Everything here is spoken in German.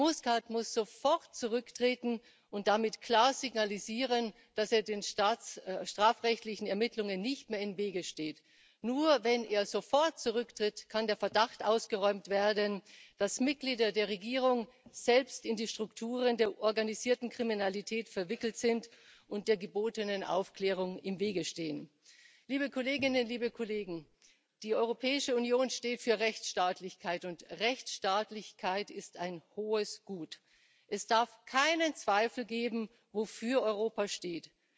Muscat muss sofort zurücktreten und damit klar signalisieren, dass er den strafrechtlichen Ermittlungen nicht mehr im Wege steht. Nur wenn er sofort zurücktritt kann der Verdacht ausgeräumt werden, dass Mitglieder der Regierung selbst in die Strukturen der organisierten Kriminalität verwickelt sind und der gebotenen Aufklärung im Wege stehen. Die Europäische Union steht für Rechtsstaatlichkeit, und Rechtsstaatlichkeit ist ein hohes Gut. Es darf keinen Zweifel geben, wofür Europa steht.